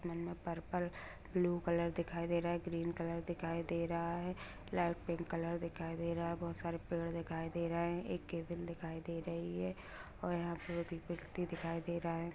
मन में purple blue colour दिखाई दे रहा है ग्रीन कलर दिखाई दे रहा है लाइट पिंक कलर दिखाई दे रहा है बहुत सारे पेड़ दिखाई दे रहे हैं एक केबिल दिखाई दे रही है और यहां पे एक व्यक्ति दिखाई दे रहा है।